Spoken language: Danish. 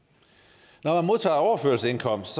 når man modtager overførselsindkomst